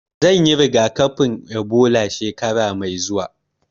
Zan yi rigakafin Ebola shekara mai zuwa